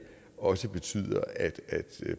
også betyder at